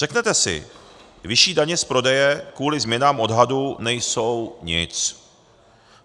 Řeknete si, vyšší daně z prodeje kvůli změnám odhadu nejsou nic.